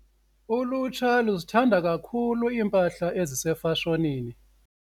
Ulutsha luzithanda kakhulu iimpahla ezisefashonini.